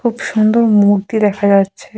খুব সুন্দর মূর্তি দেখা যাচ্ছে।